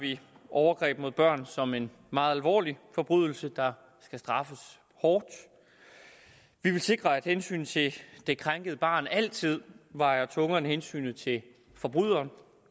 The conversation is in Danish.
vi overgreb mod børn som en meget alvorlig forbrydelse der skal straffes hårdt vi vil sikre at hensynet til det krænkede barn altid vejer tungere end hensynet til forbryderen